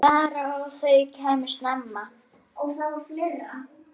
Bara að þau kæmu snemma.